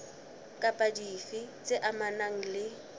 kapa dife tse amanang le